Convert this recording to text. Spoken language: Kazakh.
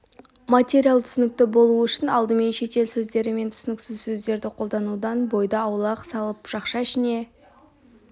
материал түсінікті болу үшін алдымен шетел сөздері мен түсініксіз сөздерді қолданудан бойды аулақ салып жақша ішінде